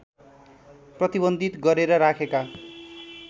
प्रतिबन्धित गरेर राखेका